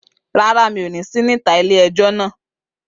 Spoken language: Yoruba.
Rárá, mi ò ní sí níta ilé-ẹjọ́ náà